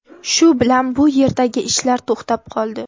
Shu bilan bu yerdagi ishlar to‘xtab qoldi.